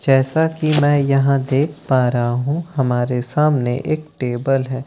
जैसा कि मैं यहां देख पा रहा हूं हमारे सामने एक टेबल है।